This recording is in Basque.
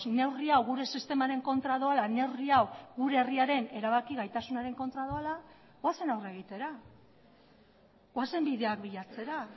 neurri hau gure sistemaren kontra doala neurri hau gure herriaren erabaki gaitasunaren kontra doala ba goazen aurre egitera goazen bideak bilatzera